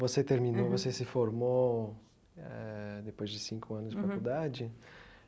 Você terminou, você se formou eh depois de cinco anos de faculdade?